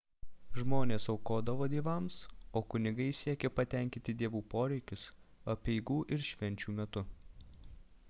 žmonės aukodavo dievams o kunigai siekė patenkinti dievų poreikius apeigų ir švenčių metu